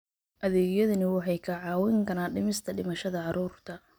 Adeegyadani waxay kaa caawin karaan dhimista dhimashada carruurta.